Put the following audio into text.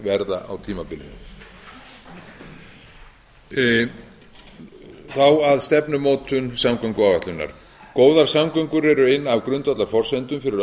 verða á tímabilinu þá að stefnumótun samgönguáætlunar góðar samgöngur eru ein af grundvallarforsendum fyrir